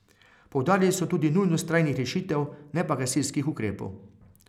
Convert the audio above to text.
Poudarili so tudi nujnost trajnih rešitev, ne pa gasilskih ukrepov.